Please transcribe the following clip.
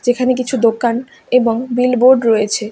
এখানে কিছু দোকান এবং বিলবোর্ড রয়েছে।